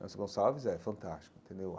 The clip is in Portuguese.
Nelson Gonçalves é fantástico entendeu.